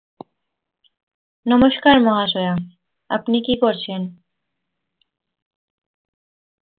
নমস্কার মহাশয়া আপনি কি করছেন